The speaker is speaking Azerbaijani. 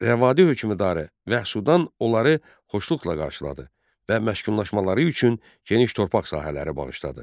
Rəvadi hökmdarı Vəhsudan onları xoşluqla qarşıladı və məskunlaşmaları üçün geniş torpaq sahələri bağışladı.